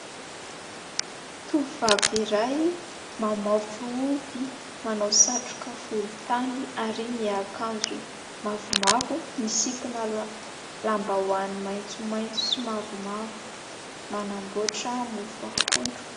Tovovavy iray mamaofy ovy, manao satroka volontany ary miakanjo mavomavo, misikina lambahoany maitsomaitso sy mavomavo, manamboatra mofo akondro.